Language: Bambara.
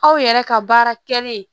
Aw yɛrɛ ka baara kɛlen